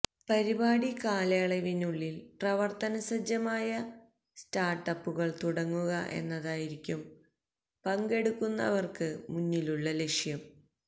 പരിപാടി കാലയളവിനുള്ളില് പ്രവര്ത്തനസജ്ജമായ സ്റ്റാര്ട്ടപ്പുകള് തുടങ്ങുക എന്നതായിരിക്കും പങ്കെടുക്കുന്നവര്ക്ക് മുന്നിലുള്ള ലക്ഷ്യം